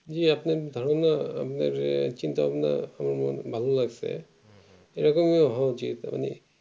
এই আপনার ধারণা আপনার চিন্তা ভাবনা করা ভালো লাগছে এরকমই হওয়ার উচিত মানে